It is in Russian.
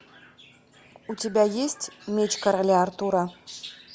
у тебя есть меч короля артура